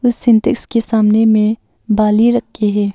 उस सिंटेक्स के सामने में बाली रख के है।